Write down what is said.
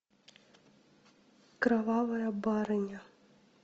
кровавая барыня